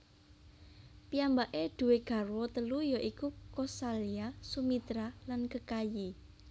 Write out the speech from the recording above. Piyambake duwé garwa telu ya iku Kosalya Sumitra lan Kekayi